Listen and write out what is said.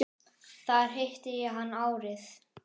Þar hitti ég hann árið